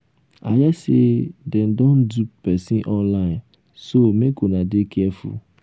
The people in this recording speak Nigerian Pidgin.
i hear say dem dey dupe person online so make una dey careful